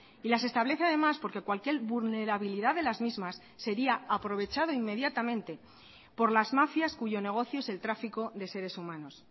y las establece además porque cualquier vulnerabilidad de las mismas sería aprovechado inmediatamente por las mafias cuyo negocio es el tráfico de seres humanos